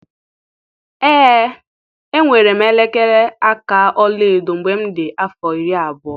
Ee enwere m elekere aka ọla edo mgbe m dị afọ iri abụọ.